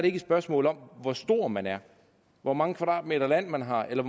ikke et spørgsmål om hvor stor man er hvor mange kvadratmeter land man har eller